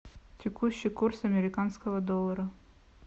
текущий курс американского доллара